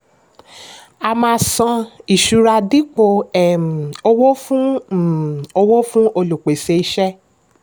a máa san ìṣura dípò um owó fún um owó fún olùpèsè iṣẹ́.